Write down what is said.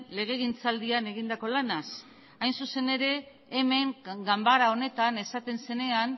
legegintzaldian egindako lanaz hain zuzen ere hemen ganbara honetan esaten zenean